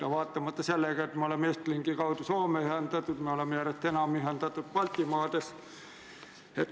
Seda ka vaatamata sellele, et me oleme Estlinki kaudu Soomega ühendatud ja järjest enam ühendatud teiste Baltimaadega.